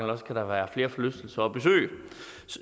der kan være flere forlystelser at besøge